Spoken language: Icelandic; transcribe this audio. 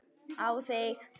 Á þig.